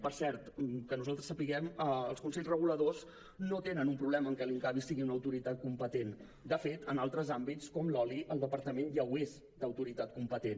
per cert que nosaltres sapiguem els consells reguladors no tenen un problema amb el fet que l’incavi sigui una autoritat competent de fet en altres àmbits com l’oli el departament ja ho és d’autoritat competent